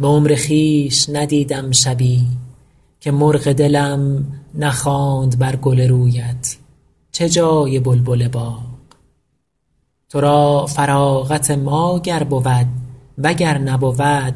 به عمر خویش ندیدم شبی که مرغ دلم نخواند بر گل رویت چه جای بلبل باغ تو را فراغت ما گر بود و گر نبود